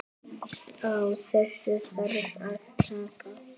Á þessu þarf að taka.